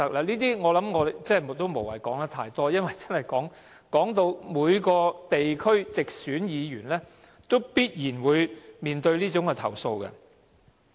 這些情況，我不需說太多，因為每位地區直選議員都必然面對相關投訴。